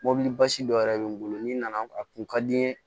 Mɔbili basi dɔ yɛrɛ be n bolo n'i nana a kun ka di n ye